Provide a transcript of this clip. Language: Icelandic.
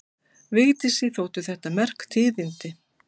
Vigdísi þóttu þetta merk tíðindi.